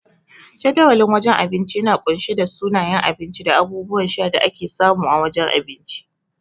Jadawalin wajen abinci yana kunshe da sunayen abinci da abubuwan sha da ake samu a wajen abinci.